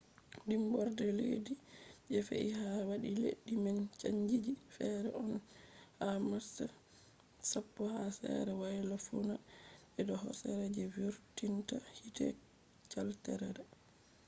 dimborde leddi je fe’i ha wadi leddi man chanji fe’i on ha march 10 ha sere woyla-fuuna je do hosere je vurtinta hiite caldera